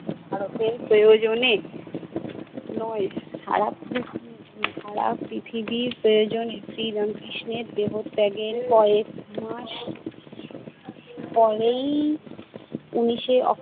ভারতের প্রয়োজনে নয়, সারা পৃথিবী~ সারা পৃথিবীর প্রয়োজনে। শ্রী রামকৃষ্ণের দেহত্যাগের কয়েক মাস পরেই উনিশে